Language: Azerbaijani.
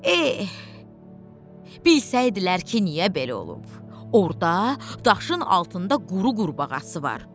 Eh, bilsəydilər ki, niyə belə olub, orda daşın altında quru qurbağası var.